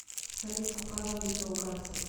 салют какая валюта у ганцев